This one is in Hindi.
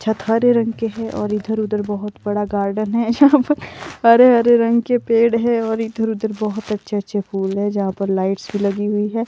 छत हरे रंग के हैं और इधर-उधर बहोत बड़ा गार्डन है जहां पर हरे हरे रंग के पेड़ है और इधर-उधर बहुत अच्छे-अच्छे फूल है जहाँ पर लाइट्स भी लगी हुई है।